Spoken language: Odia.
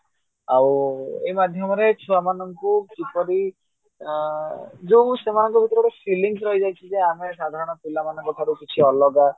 ଆଉଏଇ ମାଧ୍ୟମରେ ଛୁଆ ମାନଙ୍କୁ କିପରି ଯୋଉ ସେମାନଙ୍କର ସବୁ feelings ରହି ଯାଇଛି ଯେ ଆମେ ସାଧାରଣ ପିଲା ମାନଙ୍କ ଠାରୁ କିଛି ଅଲଗା